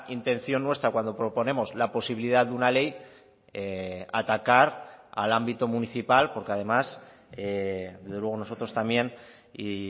intención nuestra cuando proponemos la posibilidad de una ley atacar al ámbito municipal porque además desde luego nosotros también y